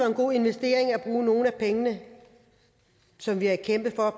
en god investering at bruge nogle af pengene som vi har kæmpet for